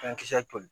Fɛn kisɛ toli